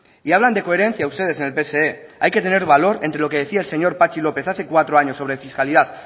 y hablan de coherencia ustedes en el pse hay que tener valor entre lo que decía el señor patxi lópez hace cuatro años sobre fiscalidad